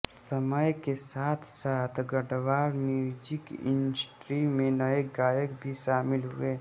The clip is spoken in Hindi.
समय के साथसाथ गढवाल म्यूजिक इंडस्ट्री में नये गायक भी शामिल हुए